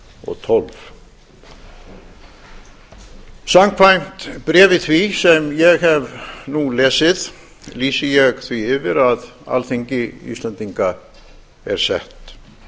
og tólf samkvæmt bréfi því sem ég hef nú lesið lýsi ég því yfir að alþingi íslendinga er sett